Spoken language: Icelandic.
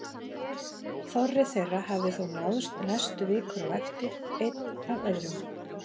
Þorri þeirra hafði þó náðst næstu vikur á eftir, einn af öðrum.